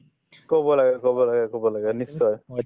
কব লাগে কব লাগে কব লাগে নিশ্চয়